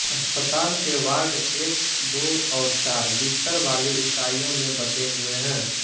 अस्पताल के वार्ड एक दो और चार बिस्तर वाली इकाईयों में बटे हुए हैं